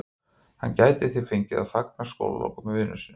Hann gæti því fengið að fagna skólalokum með vinum sínum.